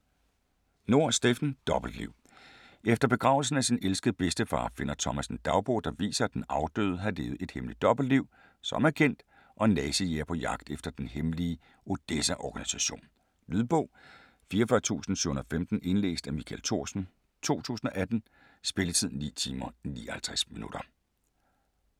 Nohr, Steffen: Dobbeltliv Efter begravelsen af sin elskede bedstefar finder Thomas en dagbog, der viser, at den afdøde havde levet et hemmeligt dobbeltliv som agent og nazijæger på jagt efter den hemmelige Odessa-organisation. Lydbog 44715 Indlæst af Michael Thorsen, 2018. Spilletid: 9 timer, 59 minutter.